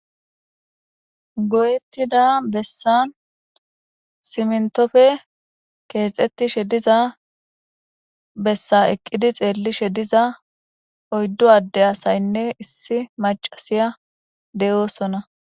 Goyettida bessan siminttofe keexettishe diza bessa eqqidi xeellishe diza oyddu adde asaynne issi maccasiya de7oosona.